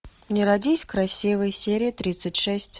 не родись красивой серия тридцать шесть